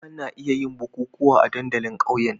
Ana iya yin bukukuwa a dandalin ƙauyen.